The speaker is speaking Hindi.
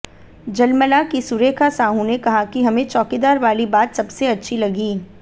झलमला की सुरेखा साहू ने कहा कि हमें चौकीदार वाली बात सबसे अच्छी लगी